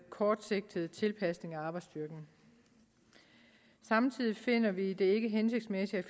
kortsigtet tilpasning af arbejdsstyrken samtidig finder vi det ikke hensigtsmæssigt